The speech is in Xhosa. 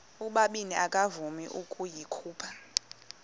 ubabini akavuma ukuyikhupha